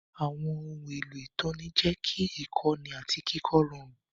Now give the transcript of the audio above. Àwọn ohun èlò ìtọ́ni jẹ́ kí ìkọ́ni àti kíkọ́ rọrùn.